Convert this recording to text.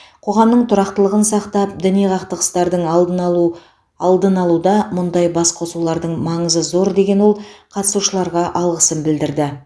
қоғамның тұрақтылығын сақтап діни қақтығыстардың алдын алу алдын алуда мұндай басқосулардың маңызы зор деген ол қатысушыларға алғысын білдірді